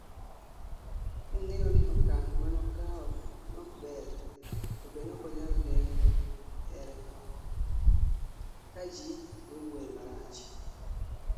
Nong'eyo ni okang' manokao nokber to be nokonyal geng'o here, ka ji nowuoye marach